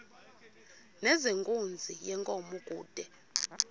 nezenkunzi yenkomo kude